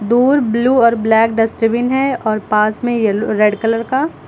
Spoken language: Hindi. दूर ब्लू और ब्लैक डस्टबिन और पास में एलो रेड कलर का।